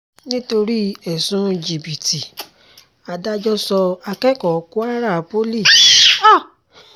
nítorí ẹ̀sùn jìbìtì adájọ́ sọ akẹ́kọ̀ọ́ kwara poli àti akẹgbẹ́ ẹ̀ sẹ́wọ̀n ńlọrọrìn